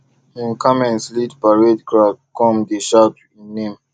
him camels lead parade crowd come dey shout him name